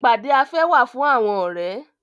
Ìpàdé afẹ́ wà fún àwọn ọ̀rẹ́.